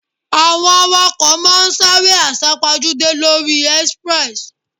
Àwọn awakọ̀ ma ń sáré àsá-pojúdé lóri express.